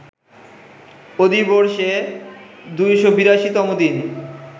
অধিবর্ষে ২৮২ তম দিন